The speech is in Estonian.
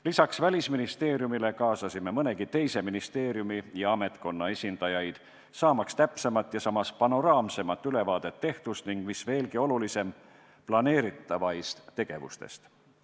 Lisaks Välisministeeriumile kaasasime mõnegi teise ministeeriumi ja ametkonna esindajaid, saamaks täpsemat ja samas panoraamsemat ülevaadet tehtust ning mis veelgi olulisem, planeeritavatest tegevustest.